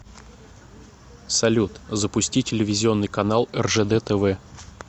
салют запусти телевизионный канал ржд тв